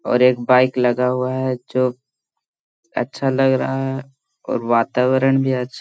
और एक बाइक लगा हुआ है जो अच्छा लग रहा है और वातावरण भी अच्छा --